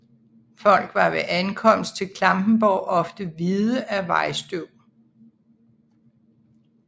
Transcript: Folk var ved ankomst til Klampenborg ofte hvide af vejstøv